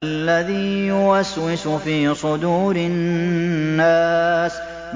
الَّذِي يُوَسْوِسُ فِي صُدُورِ النَّاسِ